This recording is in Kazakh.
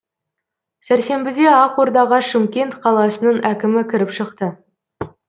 сәрсенбіде ақордаға шымкент қаласының әкімі кіріп шықты